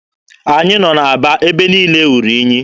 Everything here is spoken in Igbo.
Anyị nọ n'Aba, ebe niile ruru unyi.